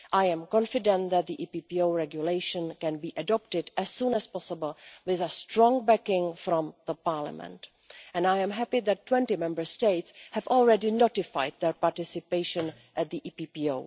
I am confident that the EPPO Regulation can be adopted as soon as possible with a strong backing from Parliament. I am happy that 20 Member States have already notified their participation in the EPPO.